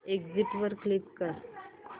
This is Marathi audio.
एग्झिट वर क्लिक कर